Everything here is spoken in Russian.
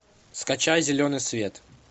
скачай зеленый свет